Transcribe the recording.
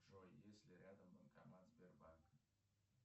джой есть ли рядом банкомат сбербанка